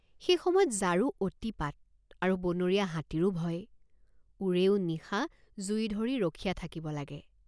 সেই সময়ত জাৰো অতিপাত আৰু বনৰীয়া হাতীৰো ভয় ওৰেও নিশা জুই ধৰি ৰখীয়া থাকিব লাগে।